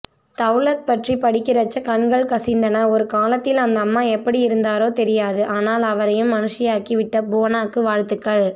தவ்லத் பற்றி படிக்கறச்ச கண்கள் கசிந்தன ஒருகாலத்தில் அந்தம்மா எப்படியிருந்தாரோ தெரியாது ஆனால் அவரையும் மனுஷியாக்கி விட்ட புவனாக்கு வாழ்த்துக்கள்